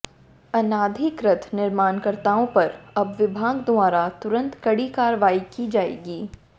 अनाधिकृत निर्माणकर्ताओं पर अब विभाग द्वारा तुरंत कड़ी कार्रवाई की जाएगी